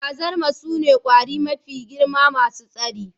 Gwazarma sune ƙwari mafi girma masu tsari